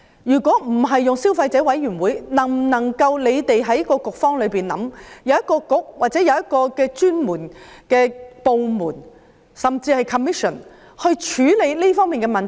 如果不交由消委會規管，政府能否由局方或由某專門部門，甚至一個專責委員會去處理這方面的問題？